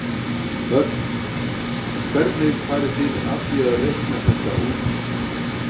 Hödd: Hvernig farið þið að því að reikna þetta út?